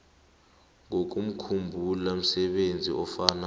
ngokomkhumbulo msebenzi ofana